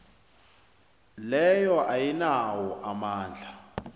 leyo ayinawo amandla